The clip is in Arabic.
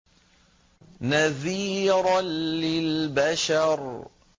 نَذِيرًا لِّلْبَشَرِ